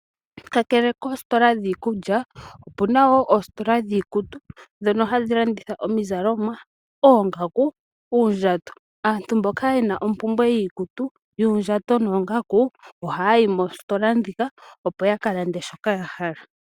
Kakele koositola dhiikulya, opuna wo oositola dhiikutu ndhono hadhi landitha omizalomwa, oongaku, uundjato. Aantu mboka ye na ompumbwe yiikutu, yuundjato noongaku ohaya yi moositola ndhika opo yakalande shoka ya hala.